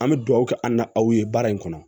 An bɛ dugawu kɛ an na aw ye baara in kɔnɔ